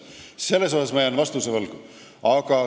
Selles asjas jään ma vastuse võlgu.